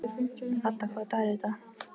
Ada, hvaða dagur er í dag?